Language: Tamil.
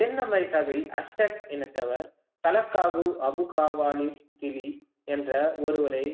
தென்அமெரிக்காவில் அஸ்டாக் இனத்தவர் தலக்காபு என்ற ஒருவரை